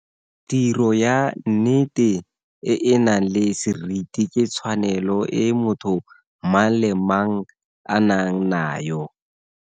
Tiro ya nnete e e nang le seriti ke tshwanelo e motho mang le mang a nang nayo.